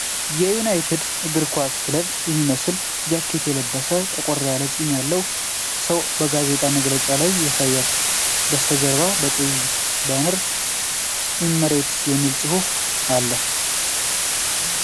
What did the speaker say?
የዩናይትድ እግር ኳስ ክለብን የሚመስል ጃኬት የለበሰ፣ ጠቆር ያለ ጺም ያለው ሰው በጋዜጣዊ መግለጫ ላይ ያሳያል። ከበስተጀርባ በቀይ ባነር ኢመረትስ የሚል ፁፍ አለ።